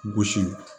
Gosi